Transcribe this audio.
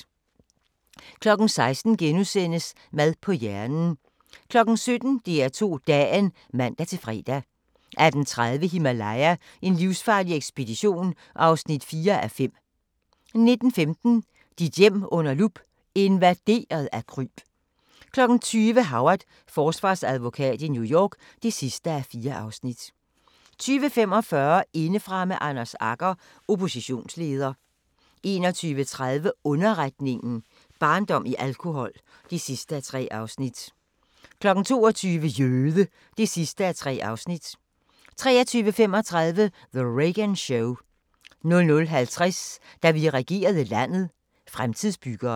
16:00: Mad på hjernen * 17:00: DR2 Dagen (man-fre) 18:30: Himalaya: En livsfarlig ekspedition (4:5) 19:15: Dit hjem under lup – invaderet af kryb 20:00: Howard – Forsvarsadvokat i New York (4:4) 20:45: Indefra med Anders Agger - Oppositionsleder 21:30: Underretningen – Barndom i alkohol (3:3) 22:00: Jøde! (3:3) 23:35: The Reagan Show 00:50: Da vi regerede landet – Fremtidsbyggeren